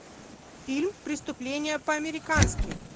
фильм преступление по американски